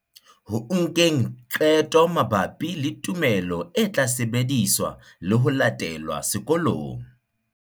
Ho nkeng qeto mabapi le tumelo e tla sebediswa le ho latelwa sekolong.